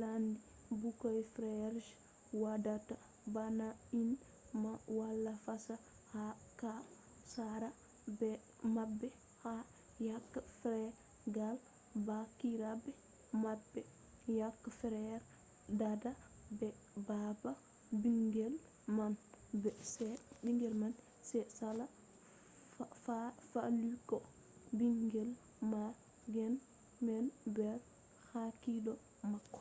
ladde. ɓikkoy feere je waɗata bana ni man wala fesa ko ha sare maɓɓe ha yakke feere gal baabiraɓe maɓɓe; yake fere dada be baba ɓingel man sai sala faalugo ɓingel ma ngam ɓingel wala nder hakkilo mako